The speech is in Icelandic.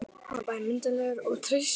Hann var bæði myndarlegur og traustur.